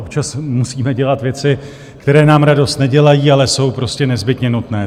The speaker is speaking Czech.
Občas musíme dělat věci, které nám radost nedělají, ale jsou prostě nezbytně nutné.